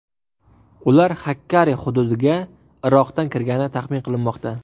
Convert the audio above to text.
Ular Xakkari hududiga Iroqdan kirgani taxmin qilinmoqda.